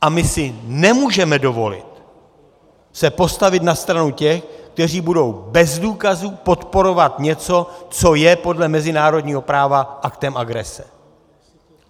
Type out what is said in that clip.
A my si nemůžeme dovolit se postavit na stranu těch, kteří budou bez důkazů podporovat něco, co je podle mezinárodního práva aktem agrese.